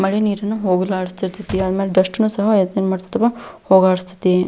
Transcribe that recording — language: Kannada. ಮಳೆ ನೀರನ್ನು ಹೋಗಲಾಡಿಸತೈತಿ ಆಮೇಲೆ ಡಸ್ಟ್ ನ್ನು ಸ ಹೋಗಲಾಡಿಸತೈತಿ.